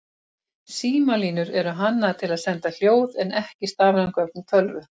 Símalínur eru hannaðar til að senda hljóð en ekki stafræn gögn úr tölvu.